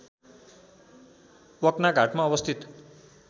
वक्नाघाटमा अवस्थित